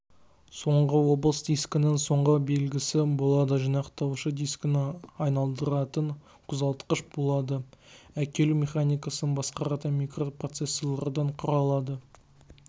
соңғы облыс дискінің соңғы белгісі болады жинақтауышы дискіні айналдыратын қозғалтқыш болады әкелу механикасын басқаратын микропроцессорлардан құралады